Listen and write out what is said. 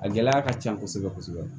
A gɛlɛya ka can kosɛbɛ kosɛbɛ